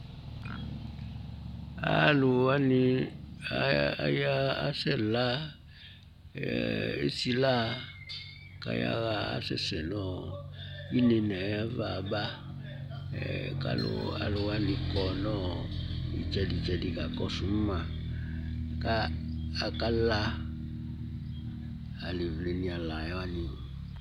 Alʋ wanɩ aya asɛ la, esi la kaya ɣa asɛsɛ nɔ inenaɛ yava aba, kalʋ alʋ wanɩ kɔ nɔ ,ɩtsɛdɩtsɛdɩ ka kɔsʋ maKa aka la ,alaevle nɩ ala wanɩ